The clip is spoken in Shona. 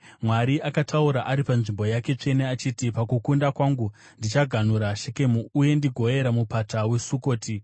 Mwari akataura ari panzvimbo yake tsvene achiti, “Pakukunda kwangu ndichaganhura Shekemu, uye ndigoyera Mupata weSukoti.